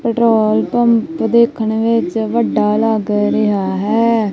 Petrol pump ਦੇਖਣ ਵਿੱਚ ਵੱਡਾ ਲੱਗ ਰਿਹਾ ਹੈ।